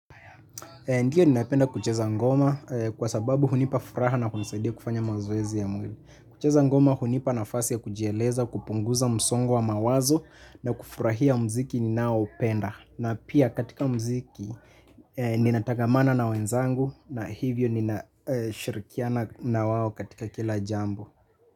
Ndiyo ninapenda kucheza ngoma kwa sababu hunipa furaha na kunisaidia kufanya mazoezi ya mwili. Kucheza ngoma hunipa nafasi ya kujieleza kupunguza msongo wa mawazo na kufurahia mziki ninao upenda. Na pia katika mziki ninatagamana na wenzangu na hivyo ninashirikiana na wawo katika kila jambo.